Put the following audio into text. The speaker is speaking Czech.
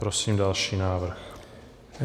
Prosím další návrh.